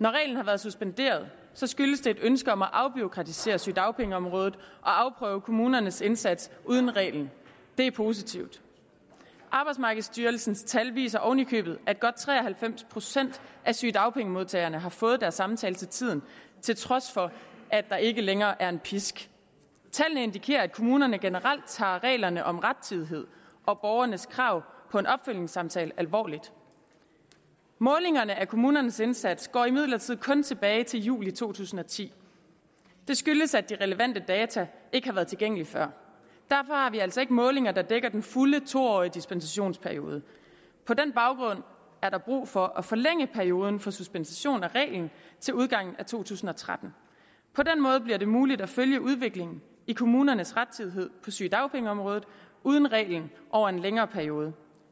når reglen har været suspenderet skyldes det et ønske om at afbureaukratisere sygedagpengeområdet og afprøve kommunernes indsats uden reglen det er positivt arbejdsmarkedsstyrelsen tal viser oven i købet at godt tre og halvfems procent af sygedagpengemodtagere har fået deres samtale til tiden til trods for at der ikke længere er en pisk tallene indikerer at kommunerne generelt tager reglerne om rettidighed og borgernes krav på en opfølgningssamtale alvorligt målingerne af kommunernes indsats går imidlertid kun tilbage til juli to tusind og ti det skyldes at de relevante data ikke har været tilgængelige før derfor har vi altså ikke målinger der dækker den fulde to årige suspensionsperiode på den baggrund er der brug for at forlænge perioden for suspension af reglen til udgangen af to tusind og tretten på den måde bliver det muligt at følge udviklingen i kommunernes rettidighed på sygedagpengeområdet uden reglen over en længere periode